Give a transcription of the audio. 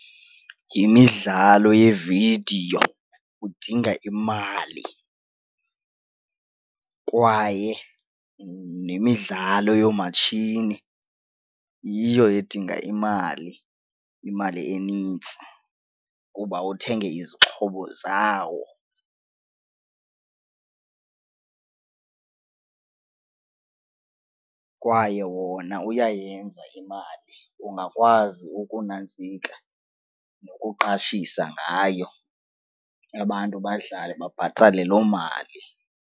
Yimidlalo yevidiyo udinga imali kwaye nemidlalo yoomatshini yiyo edinga imali, imali enintsi kuba uthenge izixhobo zawo kwaye wona uyayenza imali. Ungakwazi ukunantsika ukuqashisa ngayo abantu badlale babhatale loo mali.